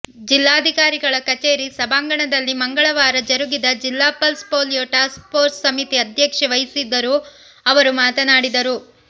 ಜಿಲ್ಲಾಧಿಕಾರಿಗಳ ಕಚೇರಿ ಸಭಾಂಗಣದಲ್ಲಿ ಮಂಗಳವಾರ ಜರುಗಿದ ಜಿಲ್ಲಾ ಪಲ್ಸ್ ಪೋಲಿಯೋ ಟಾಸ್ಕ್ ಪೋರ್ಸ್ ಸಮಿತಿ ಅಧ್ಯಕ್ಷತೆ ವಹಿಸಿ ಅವರು ಮಾತನಾಡಿದರು